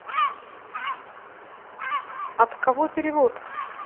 от кого перевод